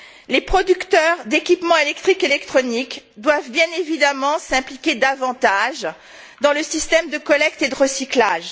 Les producteurs d'équipements électriques et électroniques doivent bien évidemment s'impliquer davantage dans le système de collecte et de recyclage.